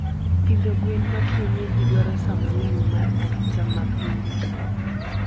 Pidho gwen ma kienyeji dwaro saaa mangenyy mar arita mma pile